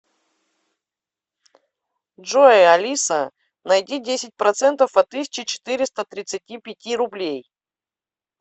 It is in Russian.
джой алиса найди десять процентов от тысячи четыреста тридцати пяти рублей